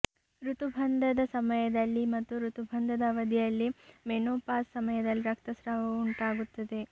ಋತುಬಂಧದ ಸಮಯದಲ್ಲಿ ಮತ್ತು ಋತುಬಂಧದ ಅವಧಿಯಲ್ಲಿ ಮೆನೋಪಾಸ್ ಸಮಯದಲ್ಲಿ ರಕ್ತಸ್ರಾವವು ಉಂಟಾಗುತ್ತದೆ